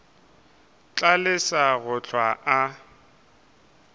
tla lesa go hlwa a